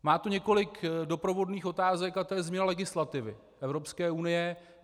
Má to několik doprovodných otázek a to je změna legislativy Evropské unie.